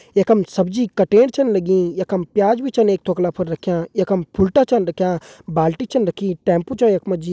यखम सब्जी कटेण छन लगीं यखम प्याज भी छन एक ठोकला फर रख्या यखम फुलटा छन रख्या बाल्टी छन रखी टेम्पू छ यख मा जी।